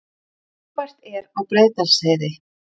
Þungfært er á Breiðdalsheiði